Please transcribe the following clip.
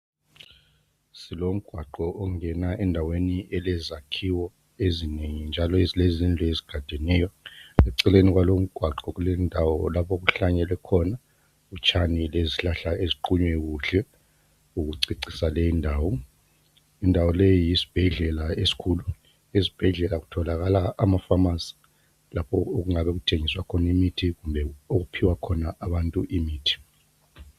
silomgwaqo ongena endaweni elezakhiwo ezinengi njalo ezilezindlu ezigadeneyo eceleni kwalowu umgwaqo kulendawo lapho okuhlanyelwe khona utshani lezihlahla eziqunywe kuhle ezokucecisa leyi indawo indawo leyi yisibhedlela esikhulu esibhedlela kutholakala ama phamarcy lapho okungabe kuthengiswa imithi kumbe okuphiwa khona imithi